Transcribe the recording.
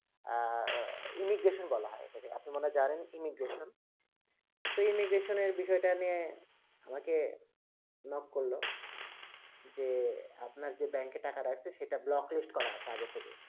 imigration বলা হয় এটাকে কে আপনি মনে হয়ে জানেন immigration তো immigration এর বিষয় টা কে নিয়ে আমাকে knock করলো যে আপনার যে ব্যাংক এ টাকা রাখছে সেটা block list করা আছে আগে থেকেই